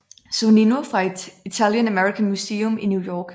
Sonnino fra Italian American Museum i New York